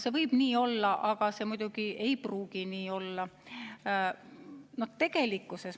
See võib nii olla, aga see ei pruugi nii olla.